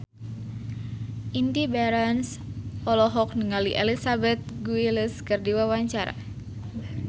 Indy Barens olohok ningali Elizabeth Gillies keur diwawancara